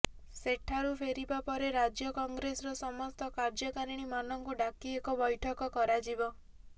ସେଠାରୁ ଫେରିବା ପରେ ରାଜ୍ୟ କଂଗ୍ରେସର ସମସ୍ତ କାର୍ଯ୍ୟକାରିଣୀ ମାନଙ୍କୁ ଡ଼ାକି ଏକ ବୈଠକ କରାଯିବ